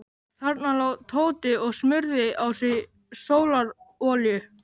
Þarna lá Tóti og smurði á sig sólarolíu.